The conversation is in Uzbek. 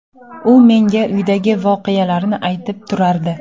U menga uydagi voqealarni aytib turardi.